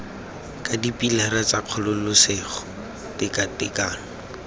ka dipilara tsa kgololesego tekatekano